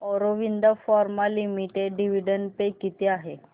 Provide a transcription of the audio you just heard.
Aurobindo Pharma Limited dividend pay किती आहे